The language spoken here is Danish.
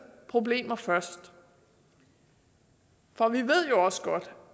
problemer først for vi ved jo også godt